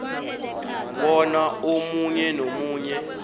bona omunye nomunye